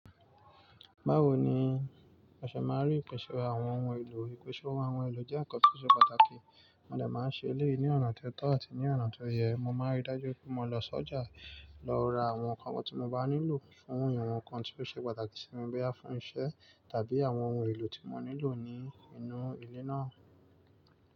Báwo ni a ṣe ma rí nǹkan ṣe àwọn ohun èlò yìí? Ìkẹ́ṣọ̀ọ́ àwọn ohun èlò jẹ́ ǹkan tó ṣe pàtàkì, mo dẹ̀ máa ń ṣe eléyìí ní ọ̀nà tó tọ́ àti ní ọ̀nà tó yẹ. Mo máa ń rí dájú pé mo lọ sọ́jà, lọ ra àwọn ǹkan wọ́ tí mo bá nílò fún ǹkan tí ó ṣe pàtàkì sí mi bẹ́ẹ̀ há fún iṣẹ́ tàbí àwọn ohun èlò tí mo nílò ní inú ilé náà.